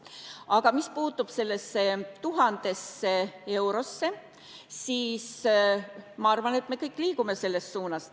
Aga mis puutub sellesse 1000-sse eurosse, siis ma arvan, et me kõik liigume selle poole.